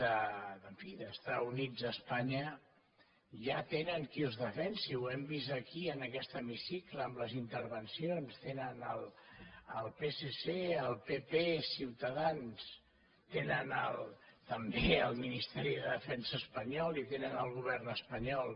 en fi d’estar units a espanya ja tenen qui els defensi ho hem vist aquí en aquest hemicicle amb les intervencions tenen el psc el pp ciutadans tenen també el ministeri de defensa espanyol i tenen el govern espanyol